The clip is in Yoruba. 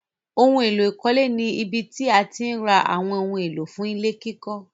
Óhun èlò ìkọ́lé ni ibí tí àti ǹ rà awọn ohun èlò fún ilẹ̀-kikọ̀.